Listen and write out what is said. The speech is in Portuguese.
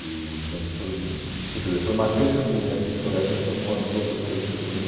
E também acho que foi hum porque foi marcante assim né, porque fotografia foi uma das outras coisas que eu também...